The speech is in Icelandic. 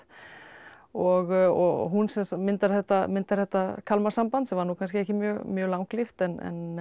og hún myndar þetta myndar þetta Kalmarsamband sem var nú kannski ekki mjög mjög langlíft en